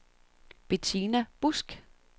Bettina Busch